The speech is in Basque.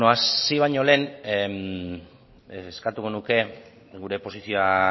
hasi baino lehen eskatuko nuke gure posizioa